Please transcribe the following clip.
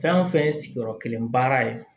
Fɛn o fɛn ye sigiyɔrɔ kelen baara ye